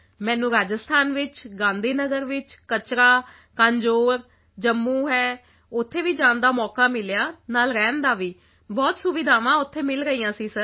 ਮੈਨੂੰ ਰਾਜਸਥਾਨ ਵਿੱਚ ਗਾਂਧੀ ਨਗਰ ਵਿੱਚ ਕਚਰਾ ਕਾਂਝੋਰ ਜੰਮੂ ਹੈ ਉੱਥੇ ਵੀ ਜਾਣ ਦਾ ਮੌਕਾ ਮਿਲਿਆ ਨਾਲ ਰਹਿਣ ਦਾ ਬਹੁਤ ਸੁਵਿਧਾਵਾਂ ਉੱਥੇ ਮਿਲ ਰਹੀਆਂ ਸੀ ਸਰ